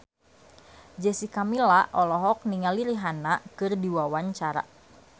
Jessica Milla olohok ningali Rihanna keur diwawancara